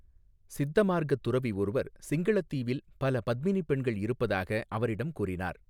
சித்த மார்க்க துறவி ஒருவர் சிங்களத் தீவில் பல பத்மினி பெண்கள் இருப்பதாக அவரிடம் கூறினார்.